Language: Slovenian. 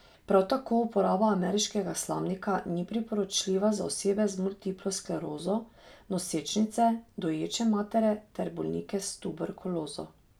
Prav tako uporaba ameriškega slamnika ni priporočljiva za osebe z multiplo sklerozo, nosečnice, doječe matere ter bolnike s tuberkulozo.